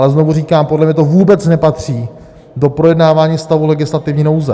Ale znovu říkám, podle mě to vůbec nepatří do projednávání stavu legislativní nouze.